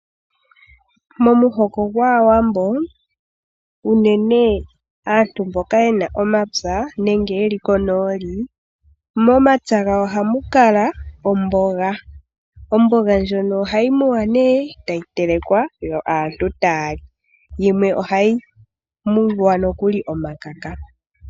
Momuhoko gwaawambo unene aantu mboka yena omapya nenge yeli konooli, momapya gawo ohamu kala omboga. Omboga ndyoka ohayi muwa ne tayi telekwa yo aantu taya li, yimwe ohayi ningwa nokuli omakaka.